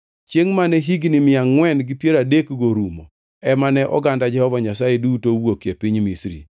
Chiengʼ mane higni mia angʼwen gi piero adekgo orumo ema ne oganda Jehova Nyasaye duto owuokie piny Misri.